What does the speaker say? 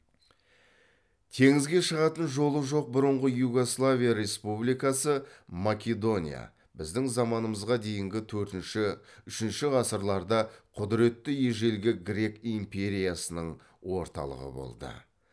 теңізге шығатын жолы жоқ бұрынғы югославия республикасы македония біздің заманымызға дейінгі төртінші үшінші ғасырларда құдіретті ежелгі грек империясының орталығы болды